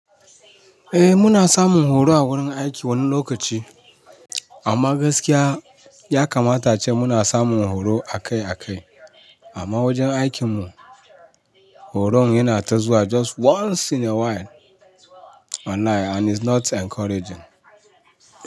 Eh muna samun horo a wurin aiki wani lokaci, amma gaskiya ya kamata ace muna samun horo akai akai. Amma wajen aikinmu horon yana ta zuwa just once in a while wallahi and is not encouraging.